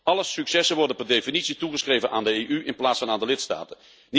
Alle successen worden per definitie toegeschreven aan de EU in plaats van aan de lidstaten.